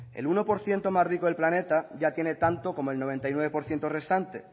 el uno por ciento más rico del planeta ya tiene tanto como el noventa y nueve por ciento restante